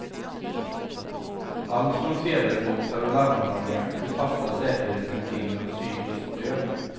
Allt från sedelboxar och larmanordningar till fasta säkerhetsrutiner och psykiskt stöd.